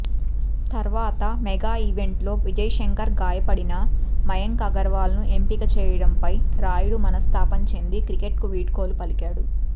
తర్వాత మెగా ఈవెంట్లో విజయ్శంకర్ గాయపడినా మయాంక్ అగర్వాల్ను ఎంపిక చేయడంపై రాయుడు మనస్తాపం చెంది క్రికెట్కు వీడ్కోలు పలికాడు